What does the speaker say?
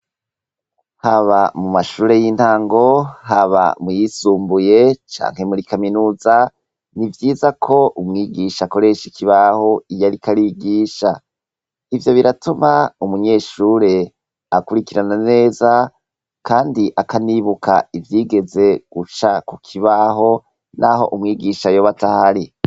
Haba mu mashure y'intango haba mu yisumbuye canke muri Kaminuza ni vyiza ko umwigisha akoresha ikibaho iyo ariko arigisha. Ivyo biratuma umunyeshure akurikirana neza kandi akanibuka ivyegeze guca ku kibaho naho umwigisha yoba atahari.